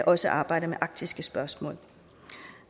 også arbejder med arktiske spørgsmål